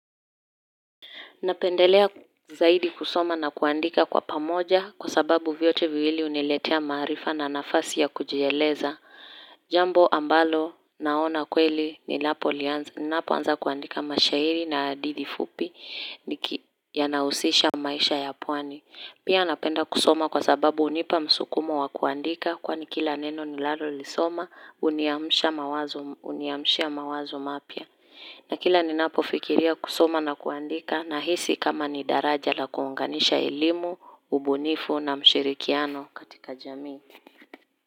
Napendelea zaidi kusoma na kuandika kwa pamoja kwa sababu vyote viwili huniletea maarifa na nafasi ya kujieleza. Jambo ambalo naona kweli ninapo anza kuandika mashairi na hadithi fupi yanahusisha maisha ya pwani. Pia napenda kusoma kwa sababu hunipa msukumo wa kuandika kwa ni kila neno ninalolisoma huniamsha mawazo huniamshia mawazo mapya. Na kila ninapofikiria kusoma na kuandika na hisi kama ni daraja la kuunganisha elimu, ubunifu na mshirikiano katika jamii.